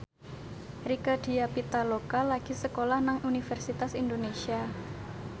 Rieke Diah Pitaloka lagi sekolah nang Universitas Indonesia